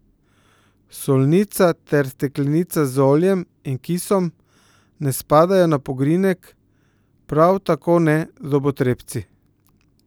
Solnica ter steklenica z oljem in kisom ne spadajo na pogrinjek, prav tako ne zobotrebci.